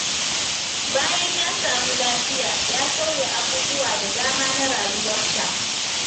Bayan ya samu lafiya, ya sauya abubuwa da dama na rayuwarsa.